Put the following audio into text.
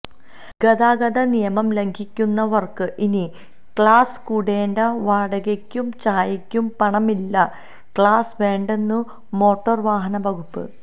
ഗതാഗതനിയമം ലംഘിക്കുന്നവര്ക്ക് ഇനി ക്ലാസ് കൂടേണ്ട വാടകയ്ക്കും ചായയ്ക്കും പണമില്ല ക്ലാസ് വേണ്ടെന്നു മോട്ടോര് വാഹന വകുപ്പ്